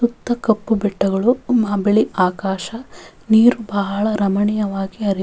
ಸುತ್ತ ಕಪ್ಪು ಬೆಟ್ಟಗಳು ಬಿಳಿ ಆಕಾಶ ನೀರು ಬಹಳ ರಮಣೀಯವಾಗಿ ಹರಿ --